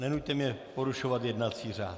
Nenuťte mě porušovat jednací řád.